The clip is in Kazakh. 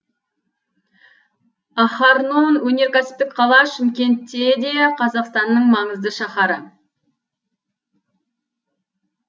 ахарнон өнеркәсіптік қала шымкентте де қазақстанның маңызды шаһары